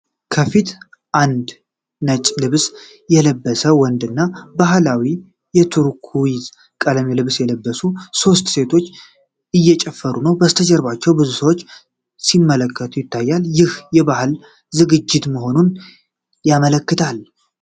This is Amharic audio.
ከፊት አንድ ነጭ ልብስ የለበሰ ወንድ እና በባህላዊ የቱርኩይዝ ቀለም ልብስ የለበሱ ሶስት ሴቶች እየጨፈሩ ነው። ከበስተጀርባ ብዙ ሰዎች ሲመለከቱ ይታያል፤ ይህም የባህል ዝግጅት መሆኑን ያመለክታል።